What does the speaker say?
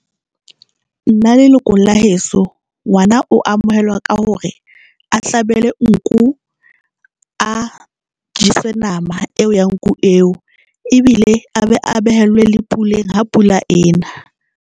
Nna leloko la heso ngwana o amohelwa ka hore a hlabele nku, a jeswe nama eo ya nku eo ebile a be a behellwe le puleng ha pula ena.